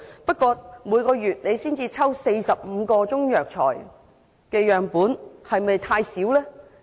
不過，每月只抽取45個中藥材樣本會否太少呢？